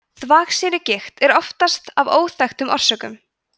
þvagsýrugigt er oftast af óþekktum orsökum